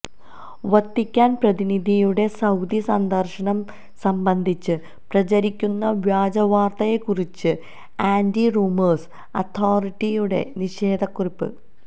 Vatican പ്രതിനിധിയുടെ Saudi സന്ദർശനം സംബന്ധിച്ച് പ്രചരിക്കുന്ന വ്യാജ വാർത്തയെക്കുറിച്ച് ആന്റി റൂമേഴ്സ് അതോറിറ്റിയുടെ നിഷേധക്കുറിപ്പ്